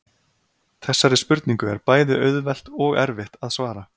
þessari spurningu er bæði auðvelt og erfitt að svara